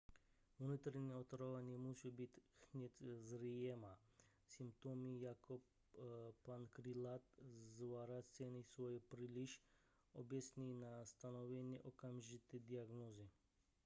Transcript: vnitřní otrava nemusí být hned zřejmá symptomy jako například zvracení jsou příliš obecné na stanovení okamžité diagnózy